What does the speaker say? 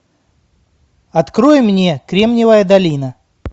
открой мне кремниевая долина